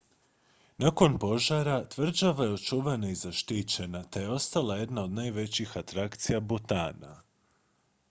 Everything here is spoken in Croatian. nakon požara tvrđava je očuvana i zaštićena te je ostala jedna od najvećih atrakcija butana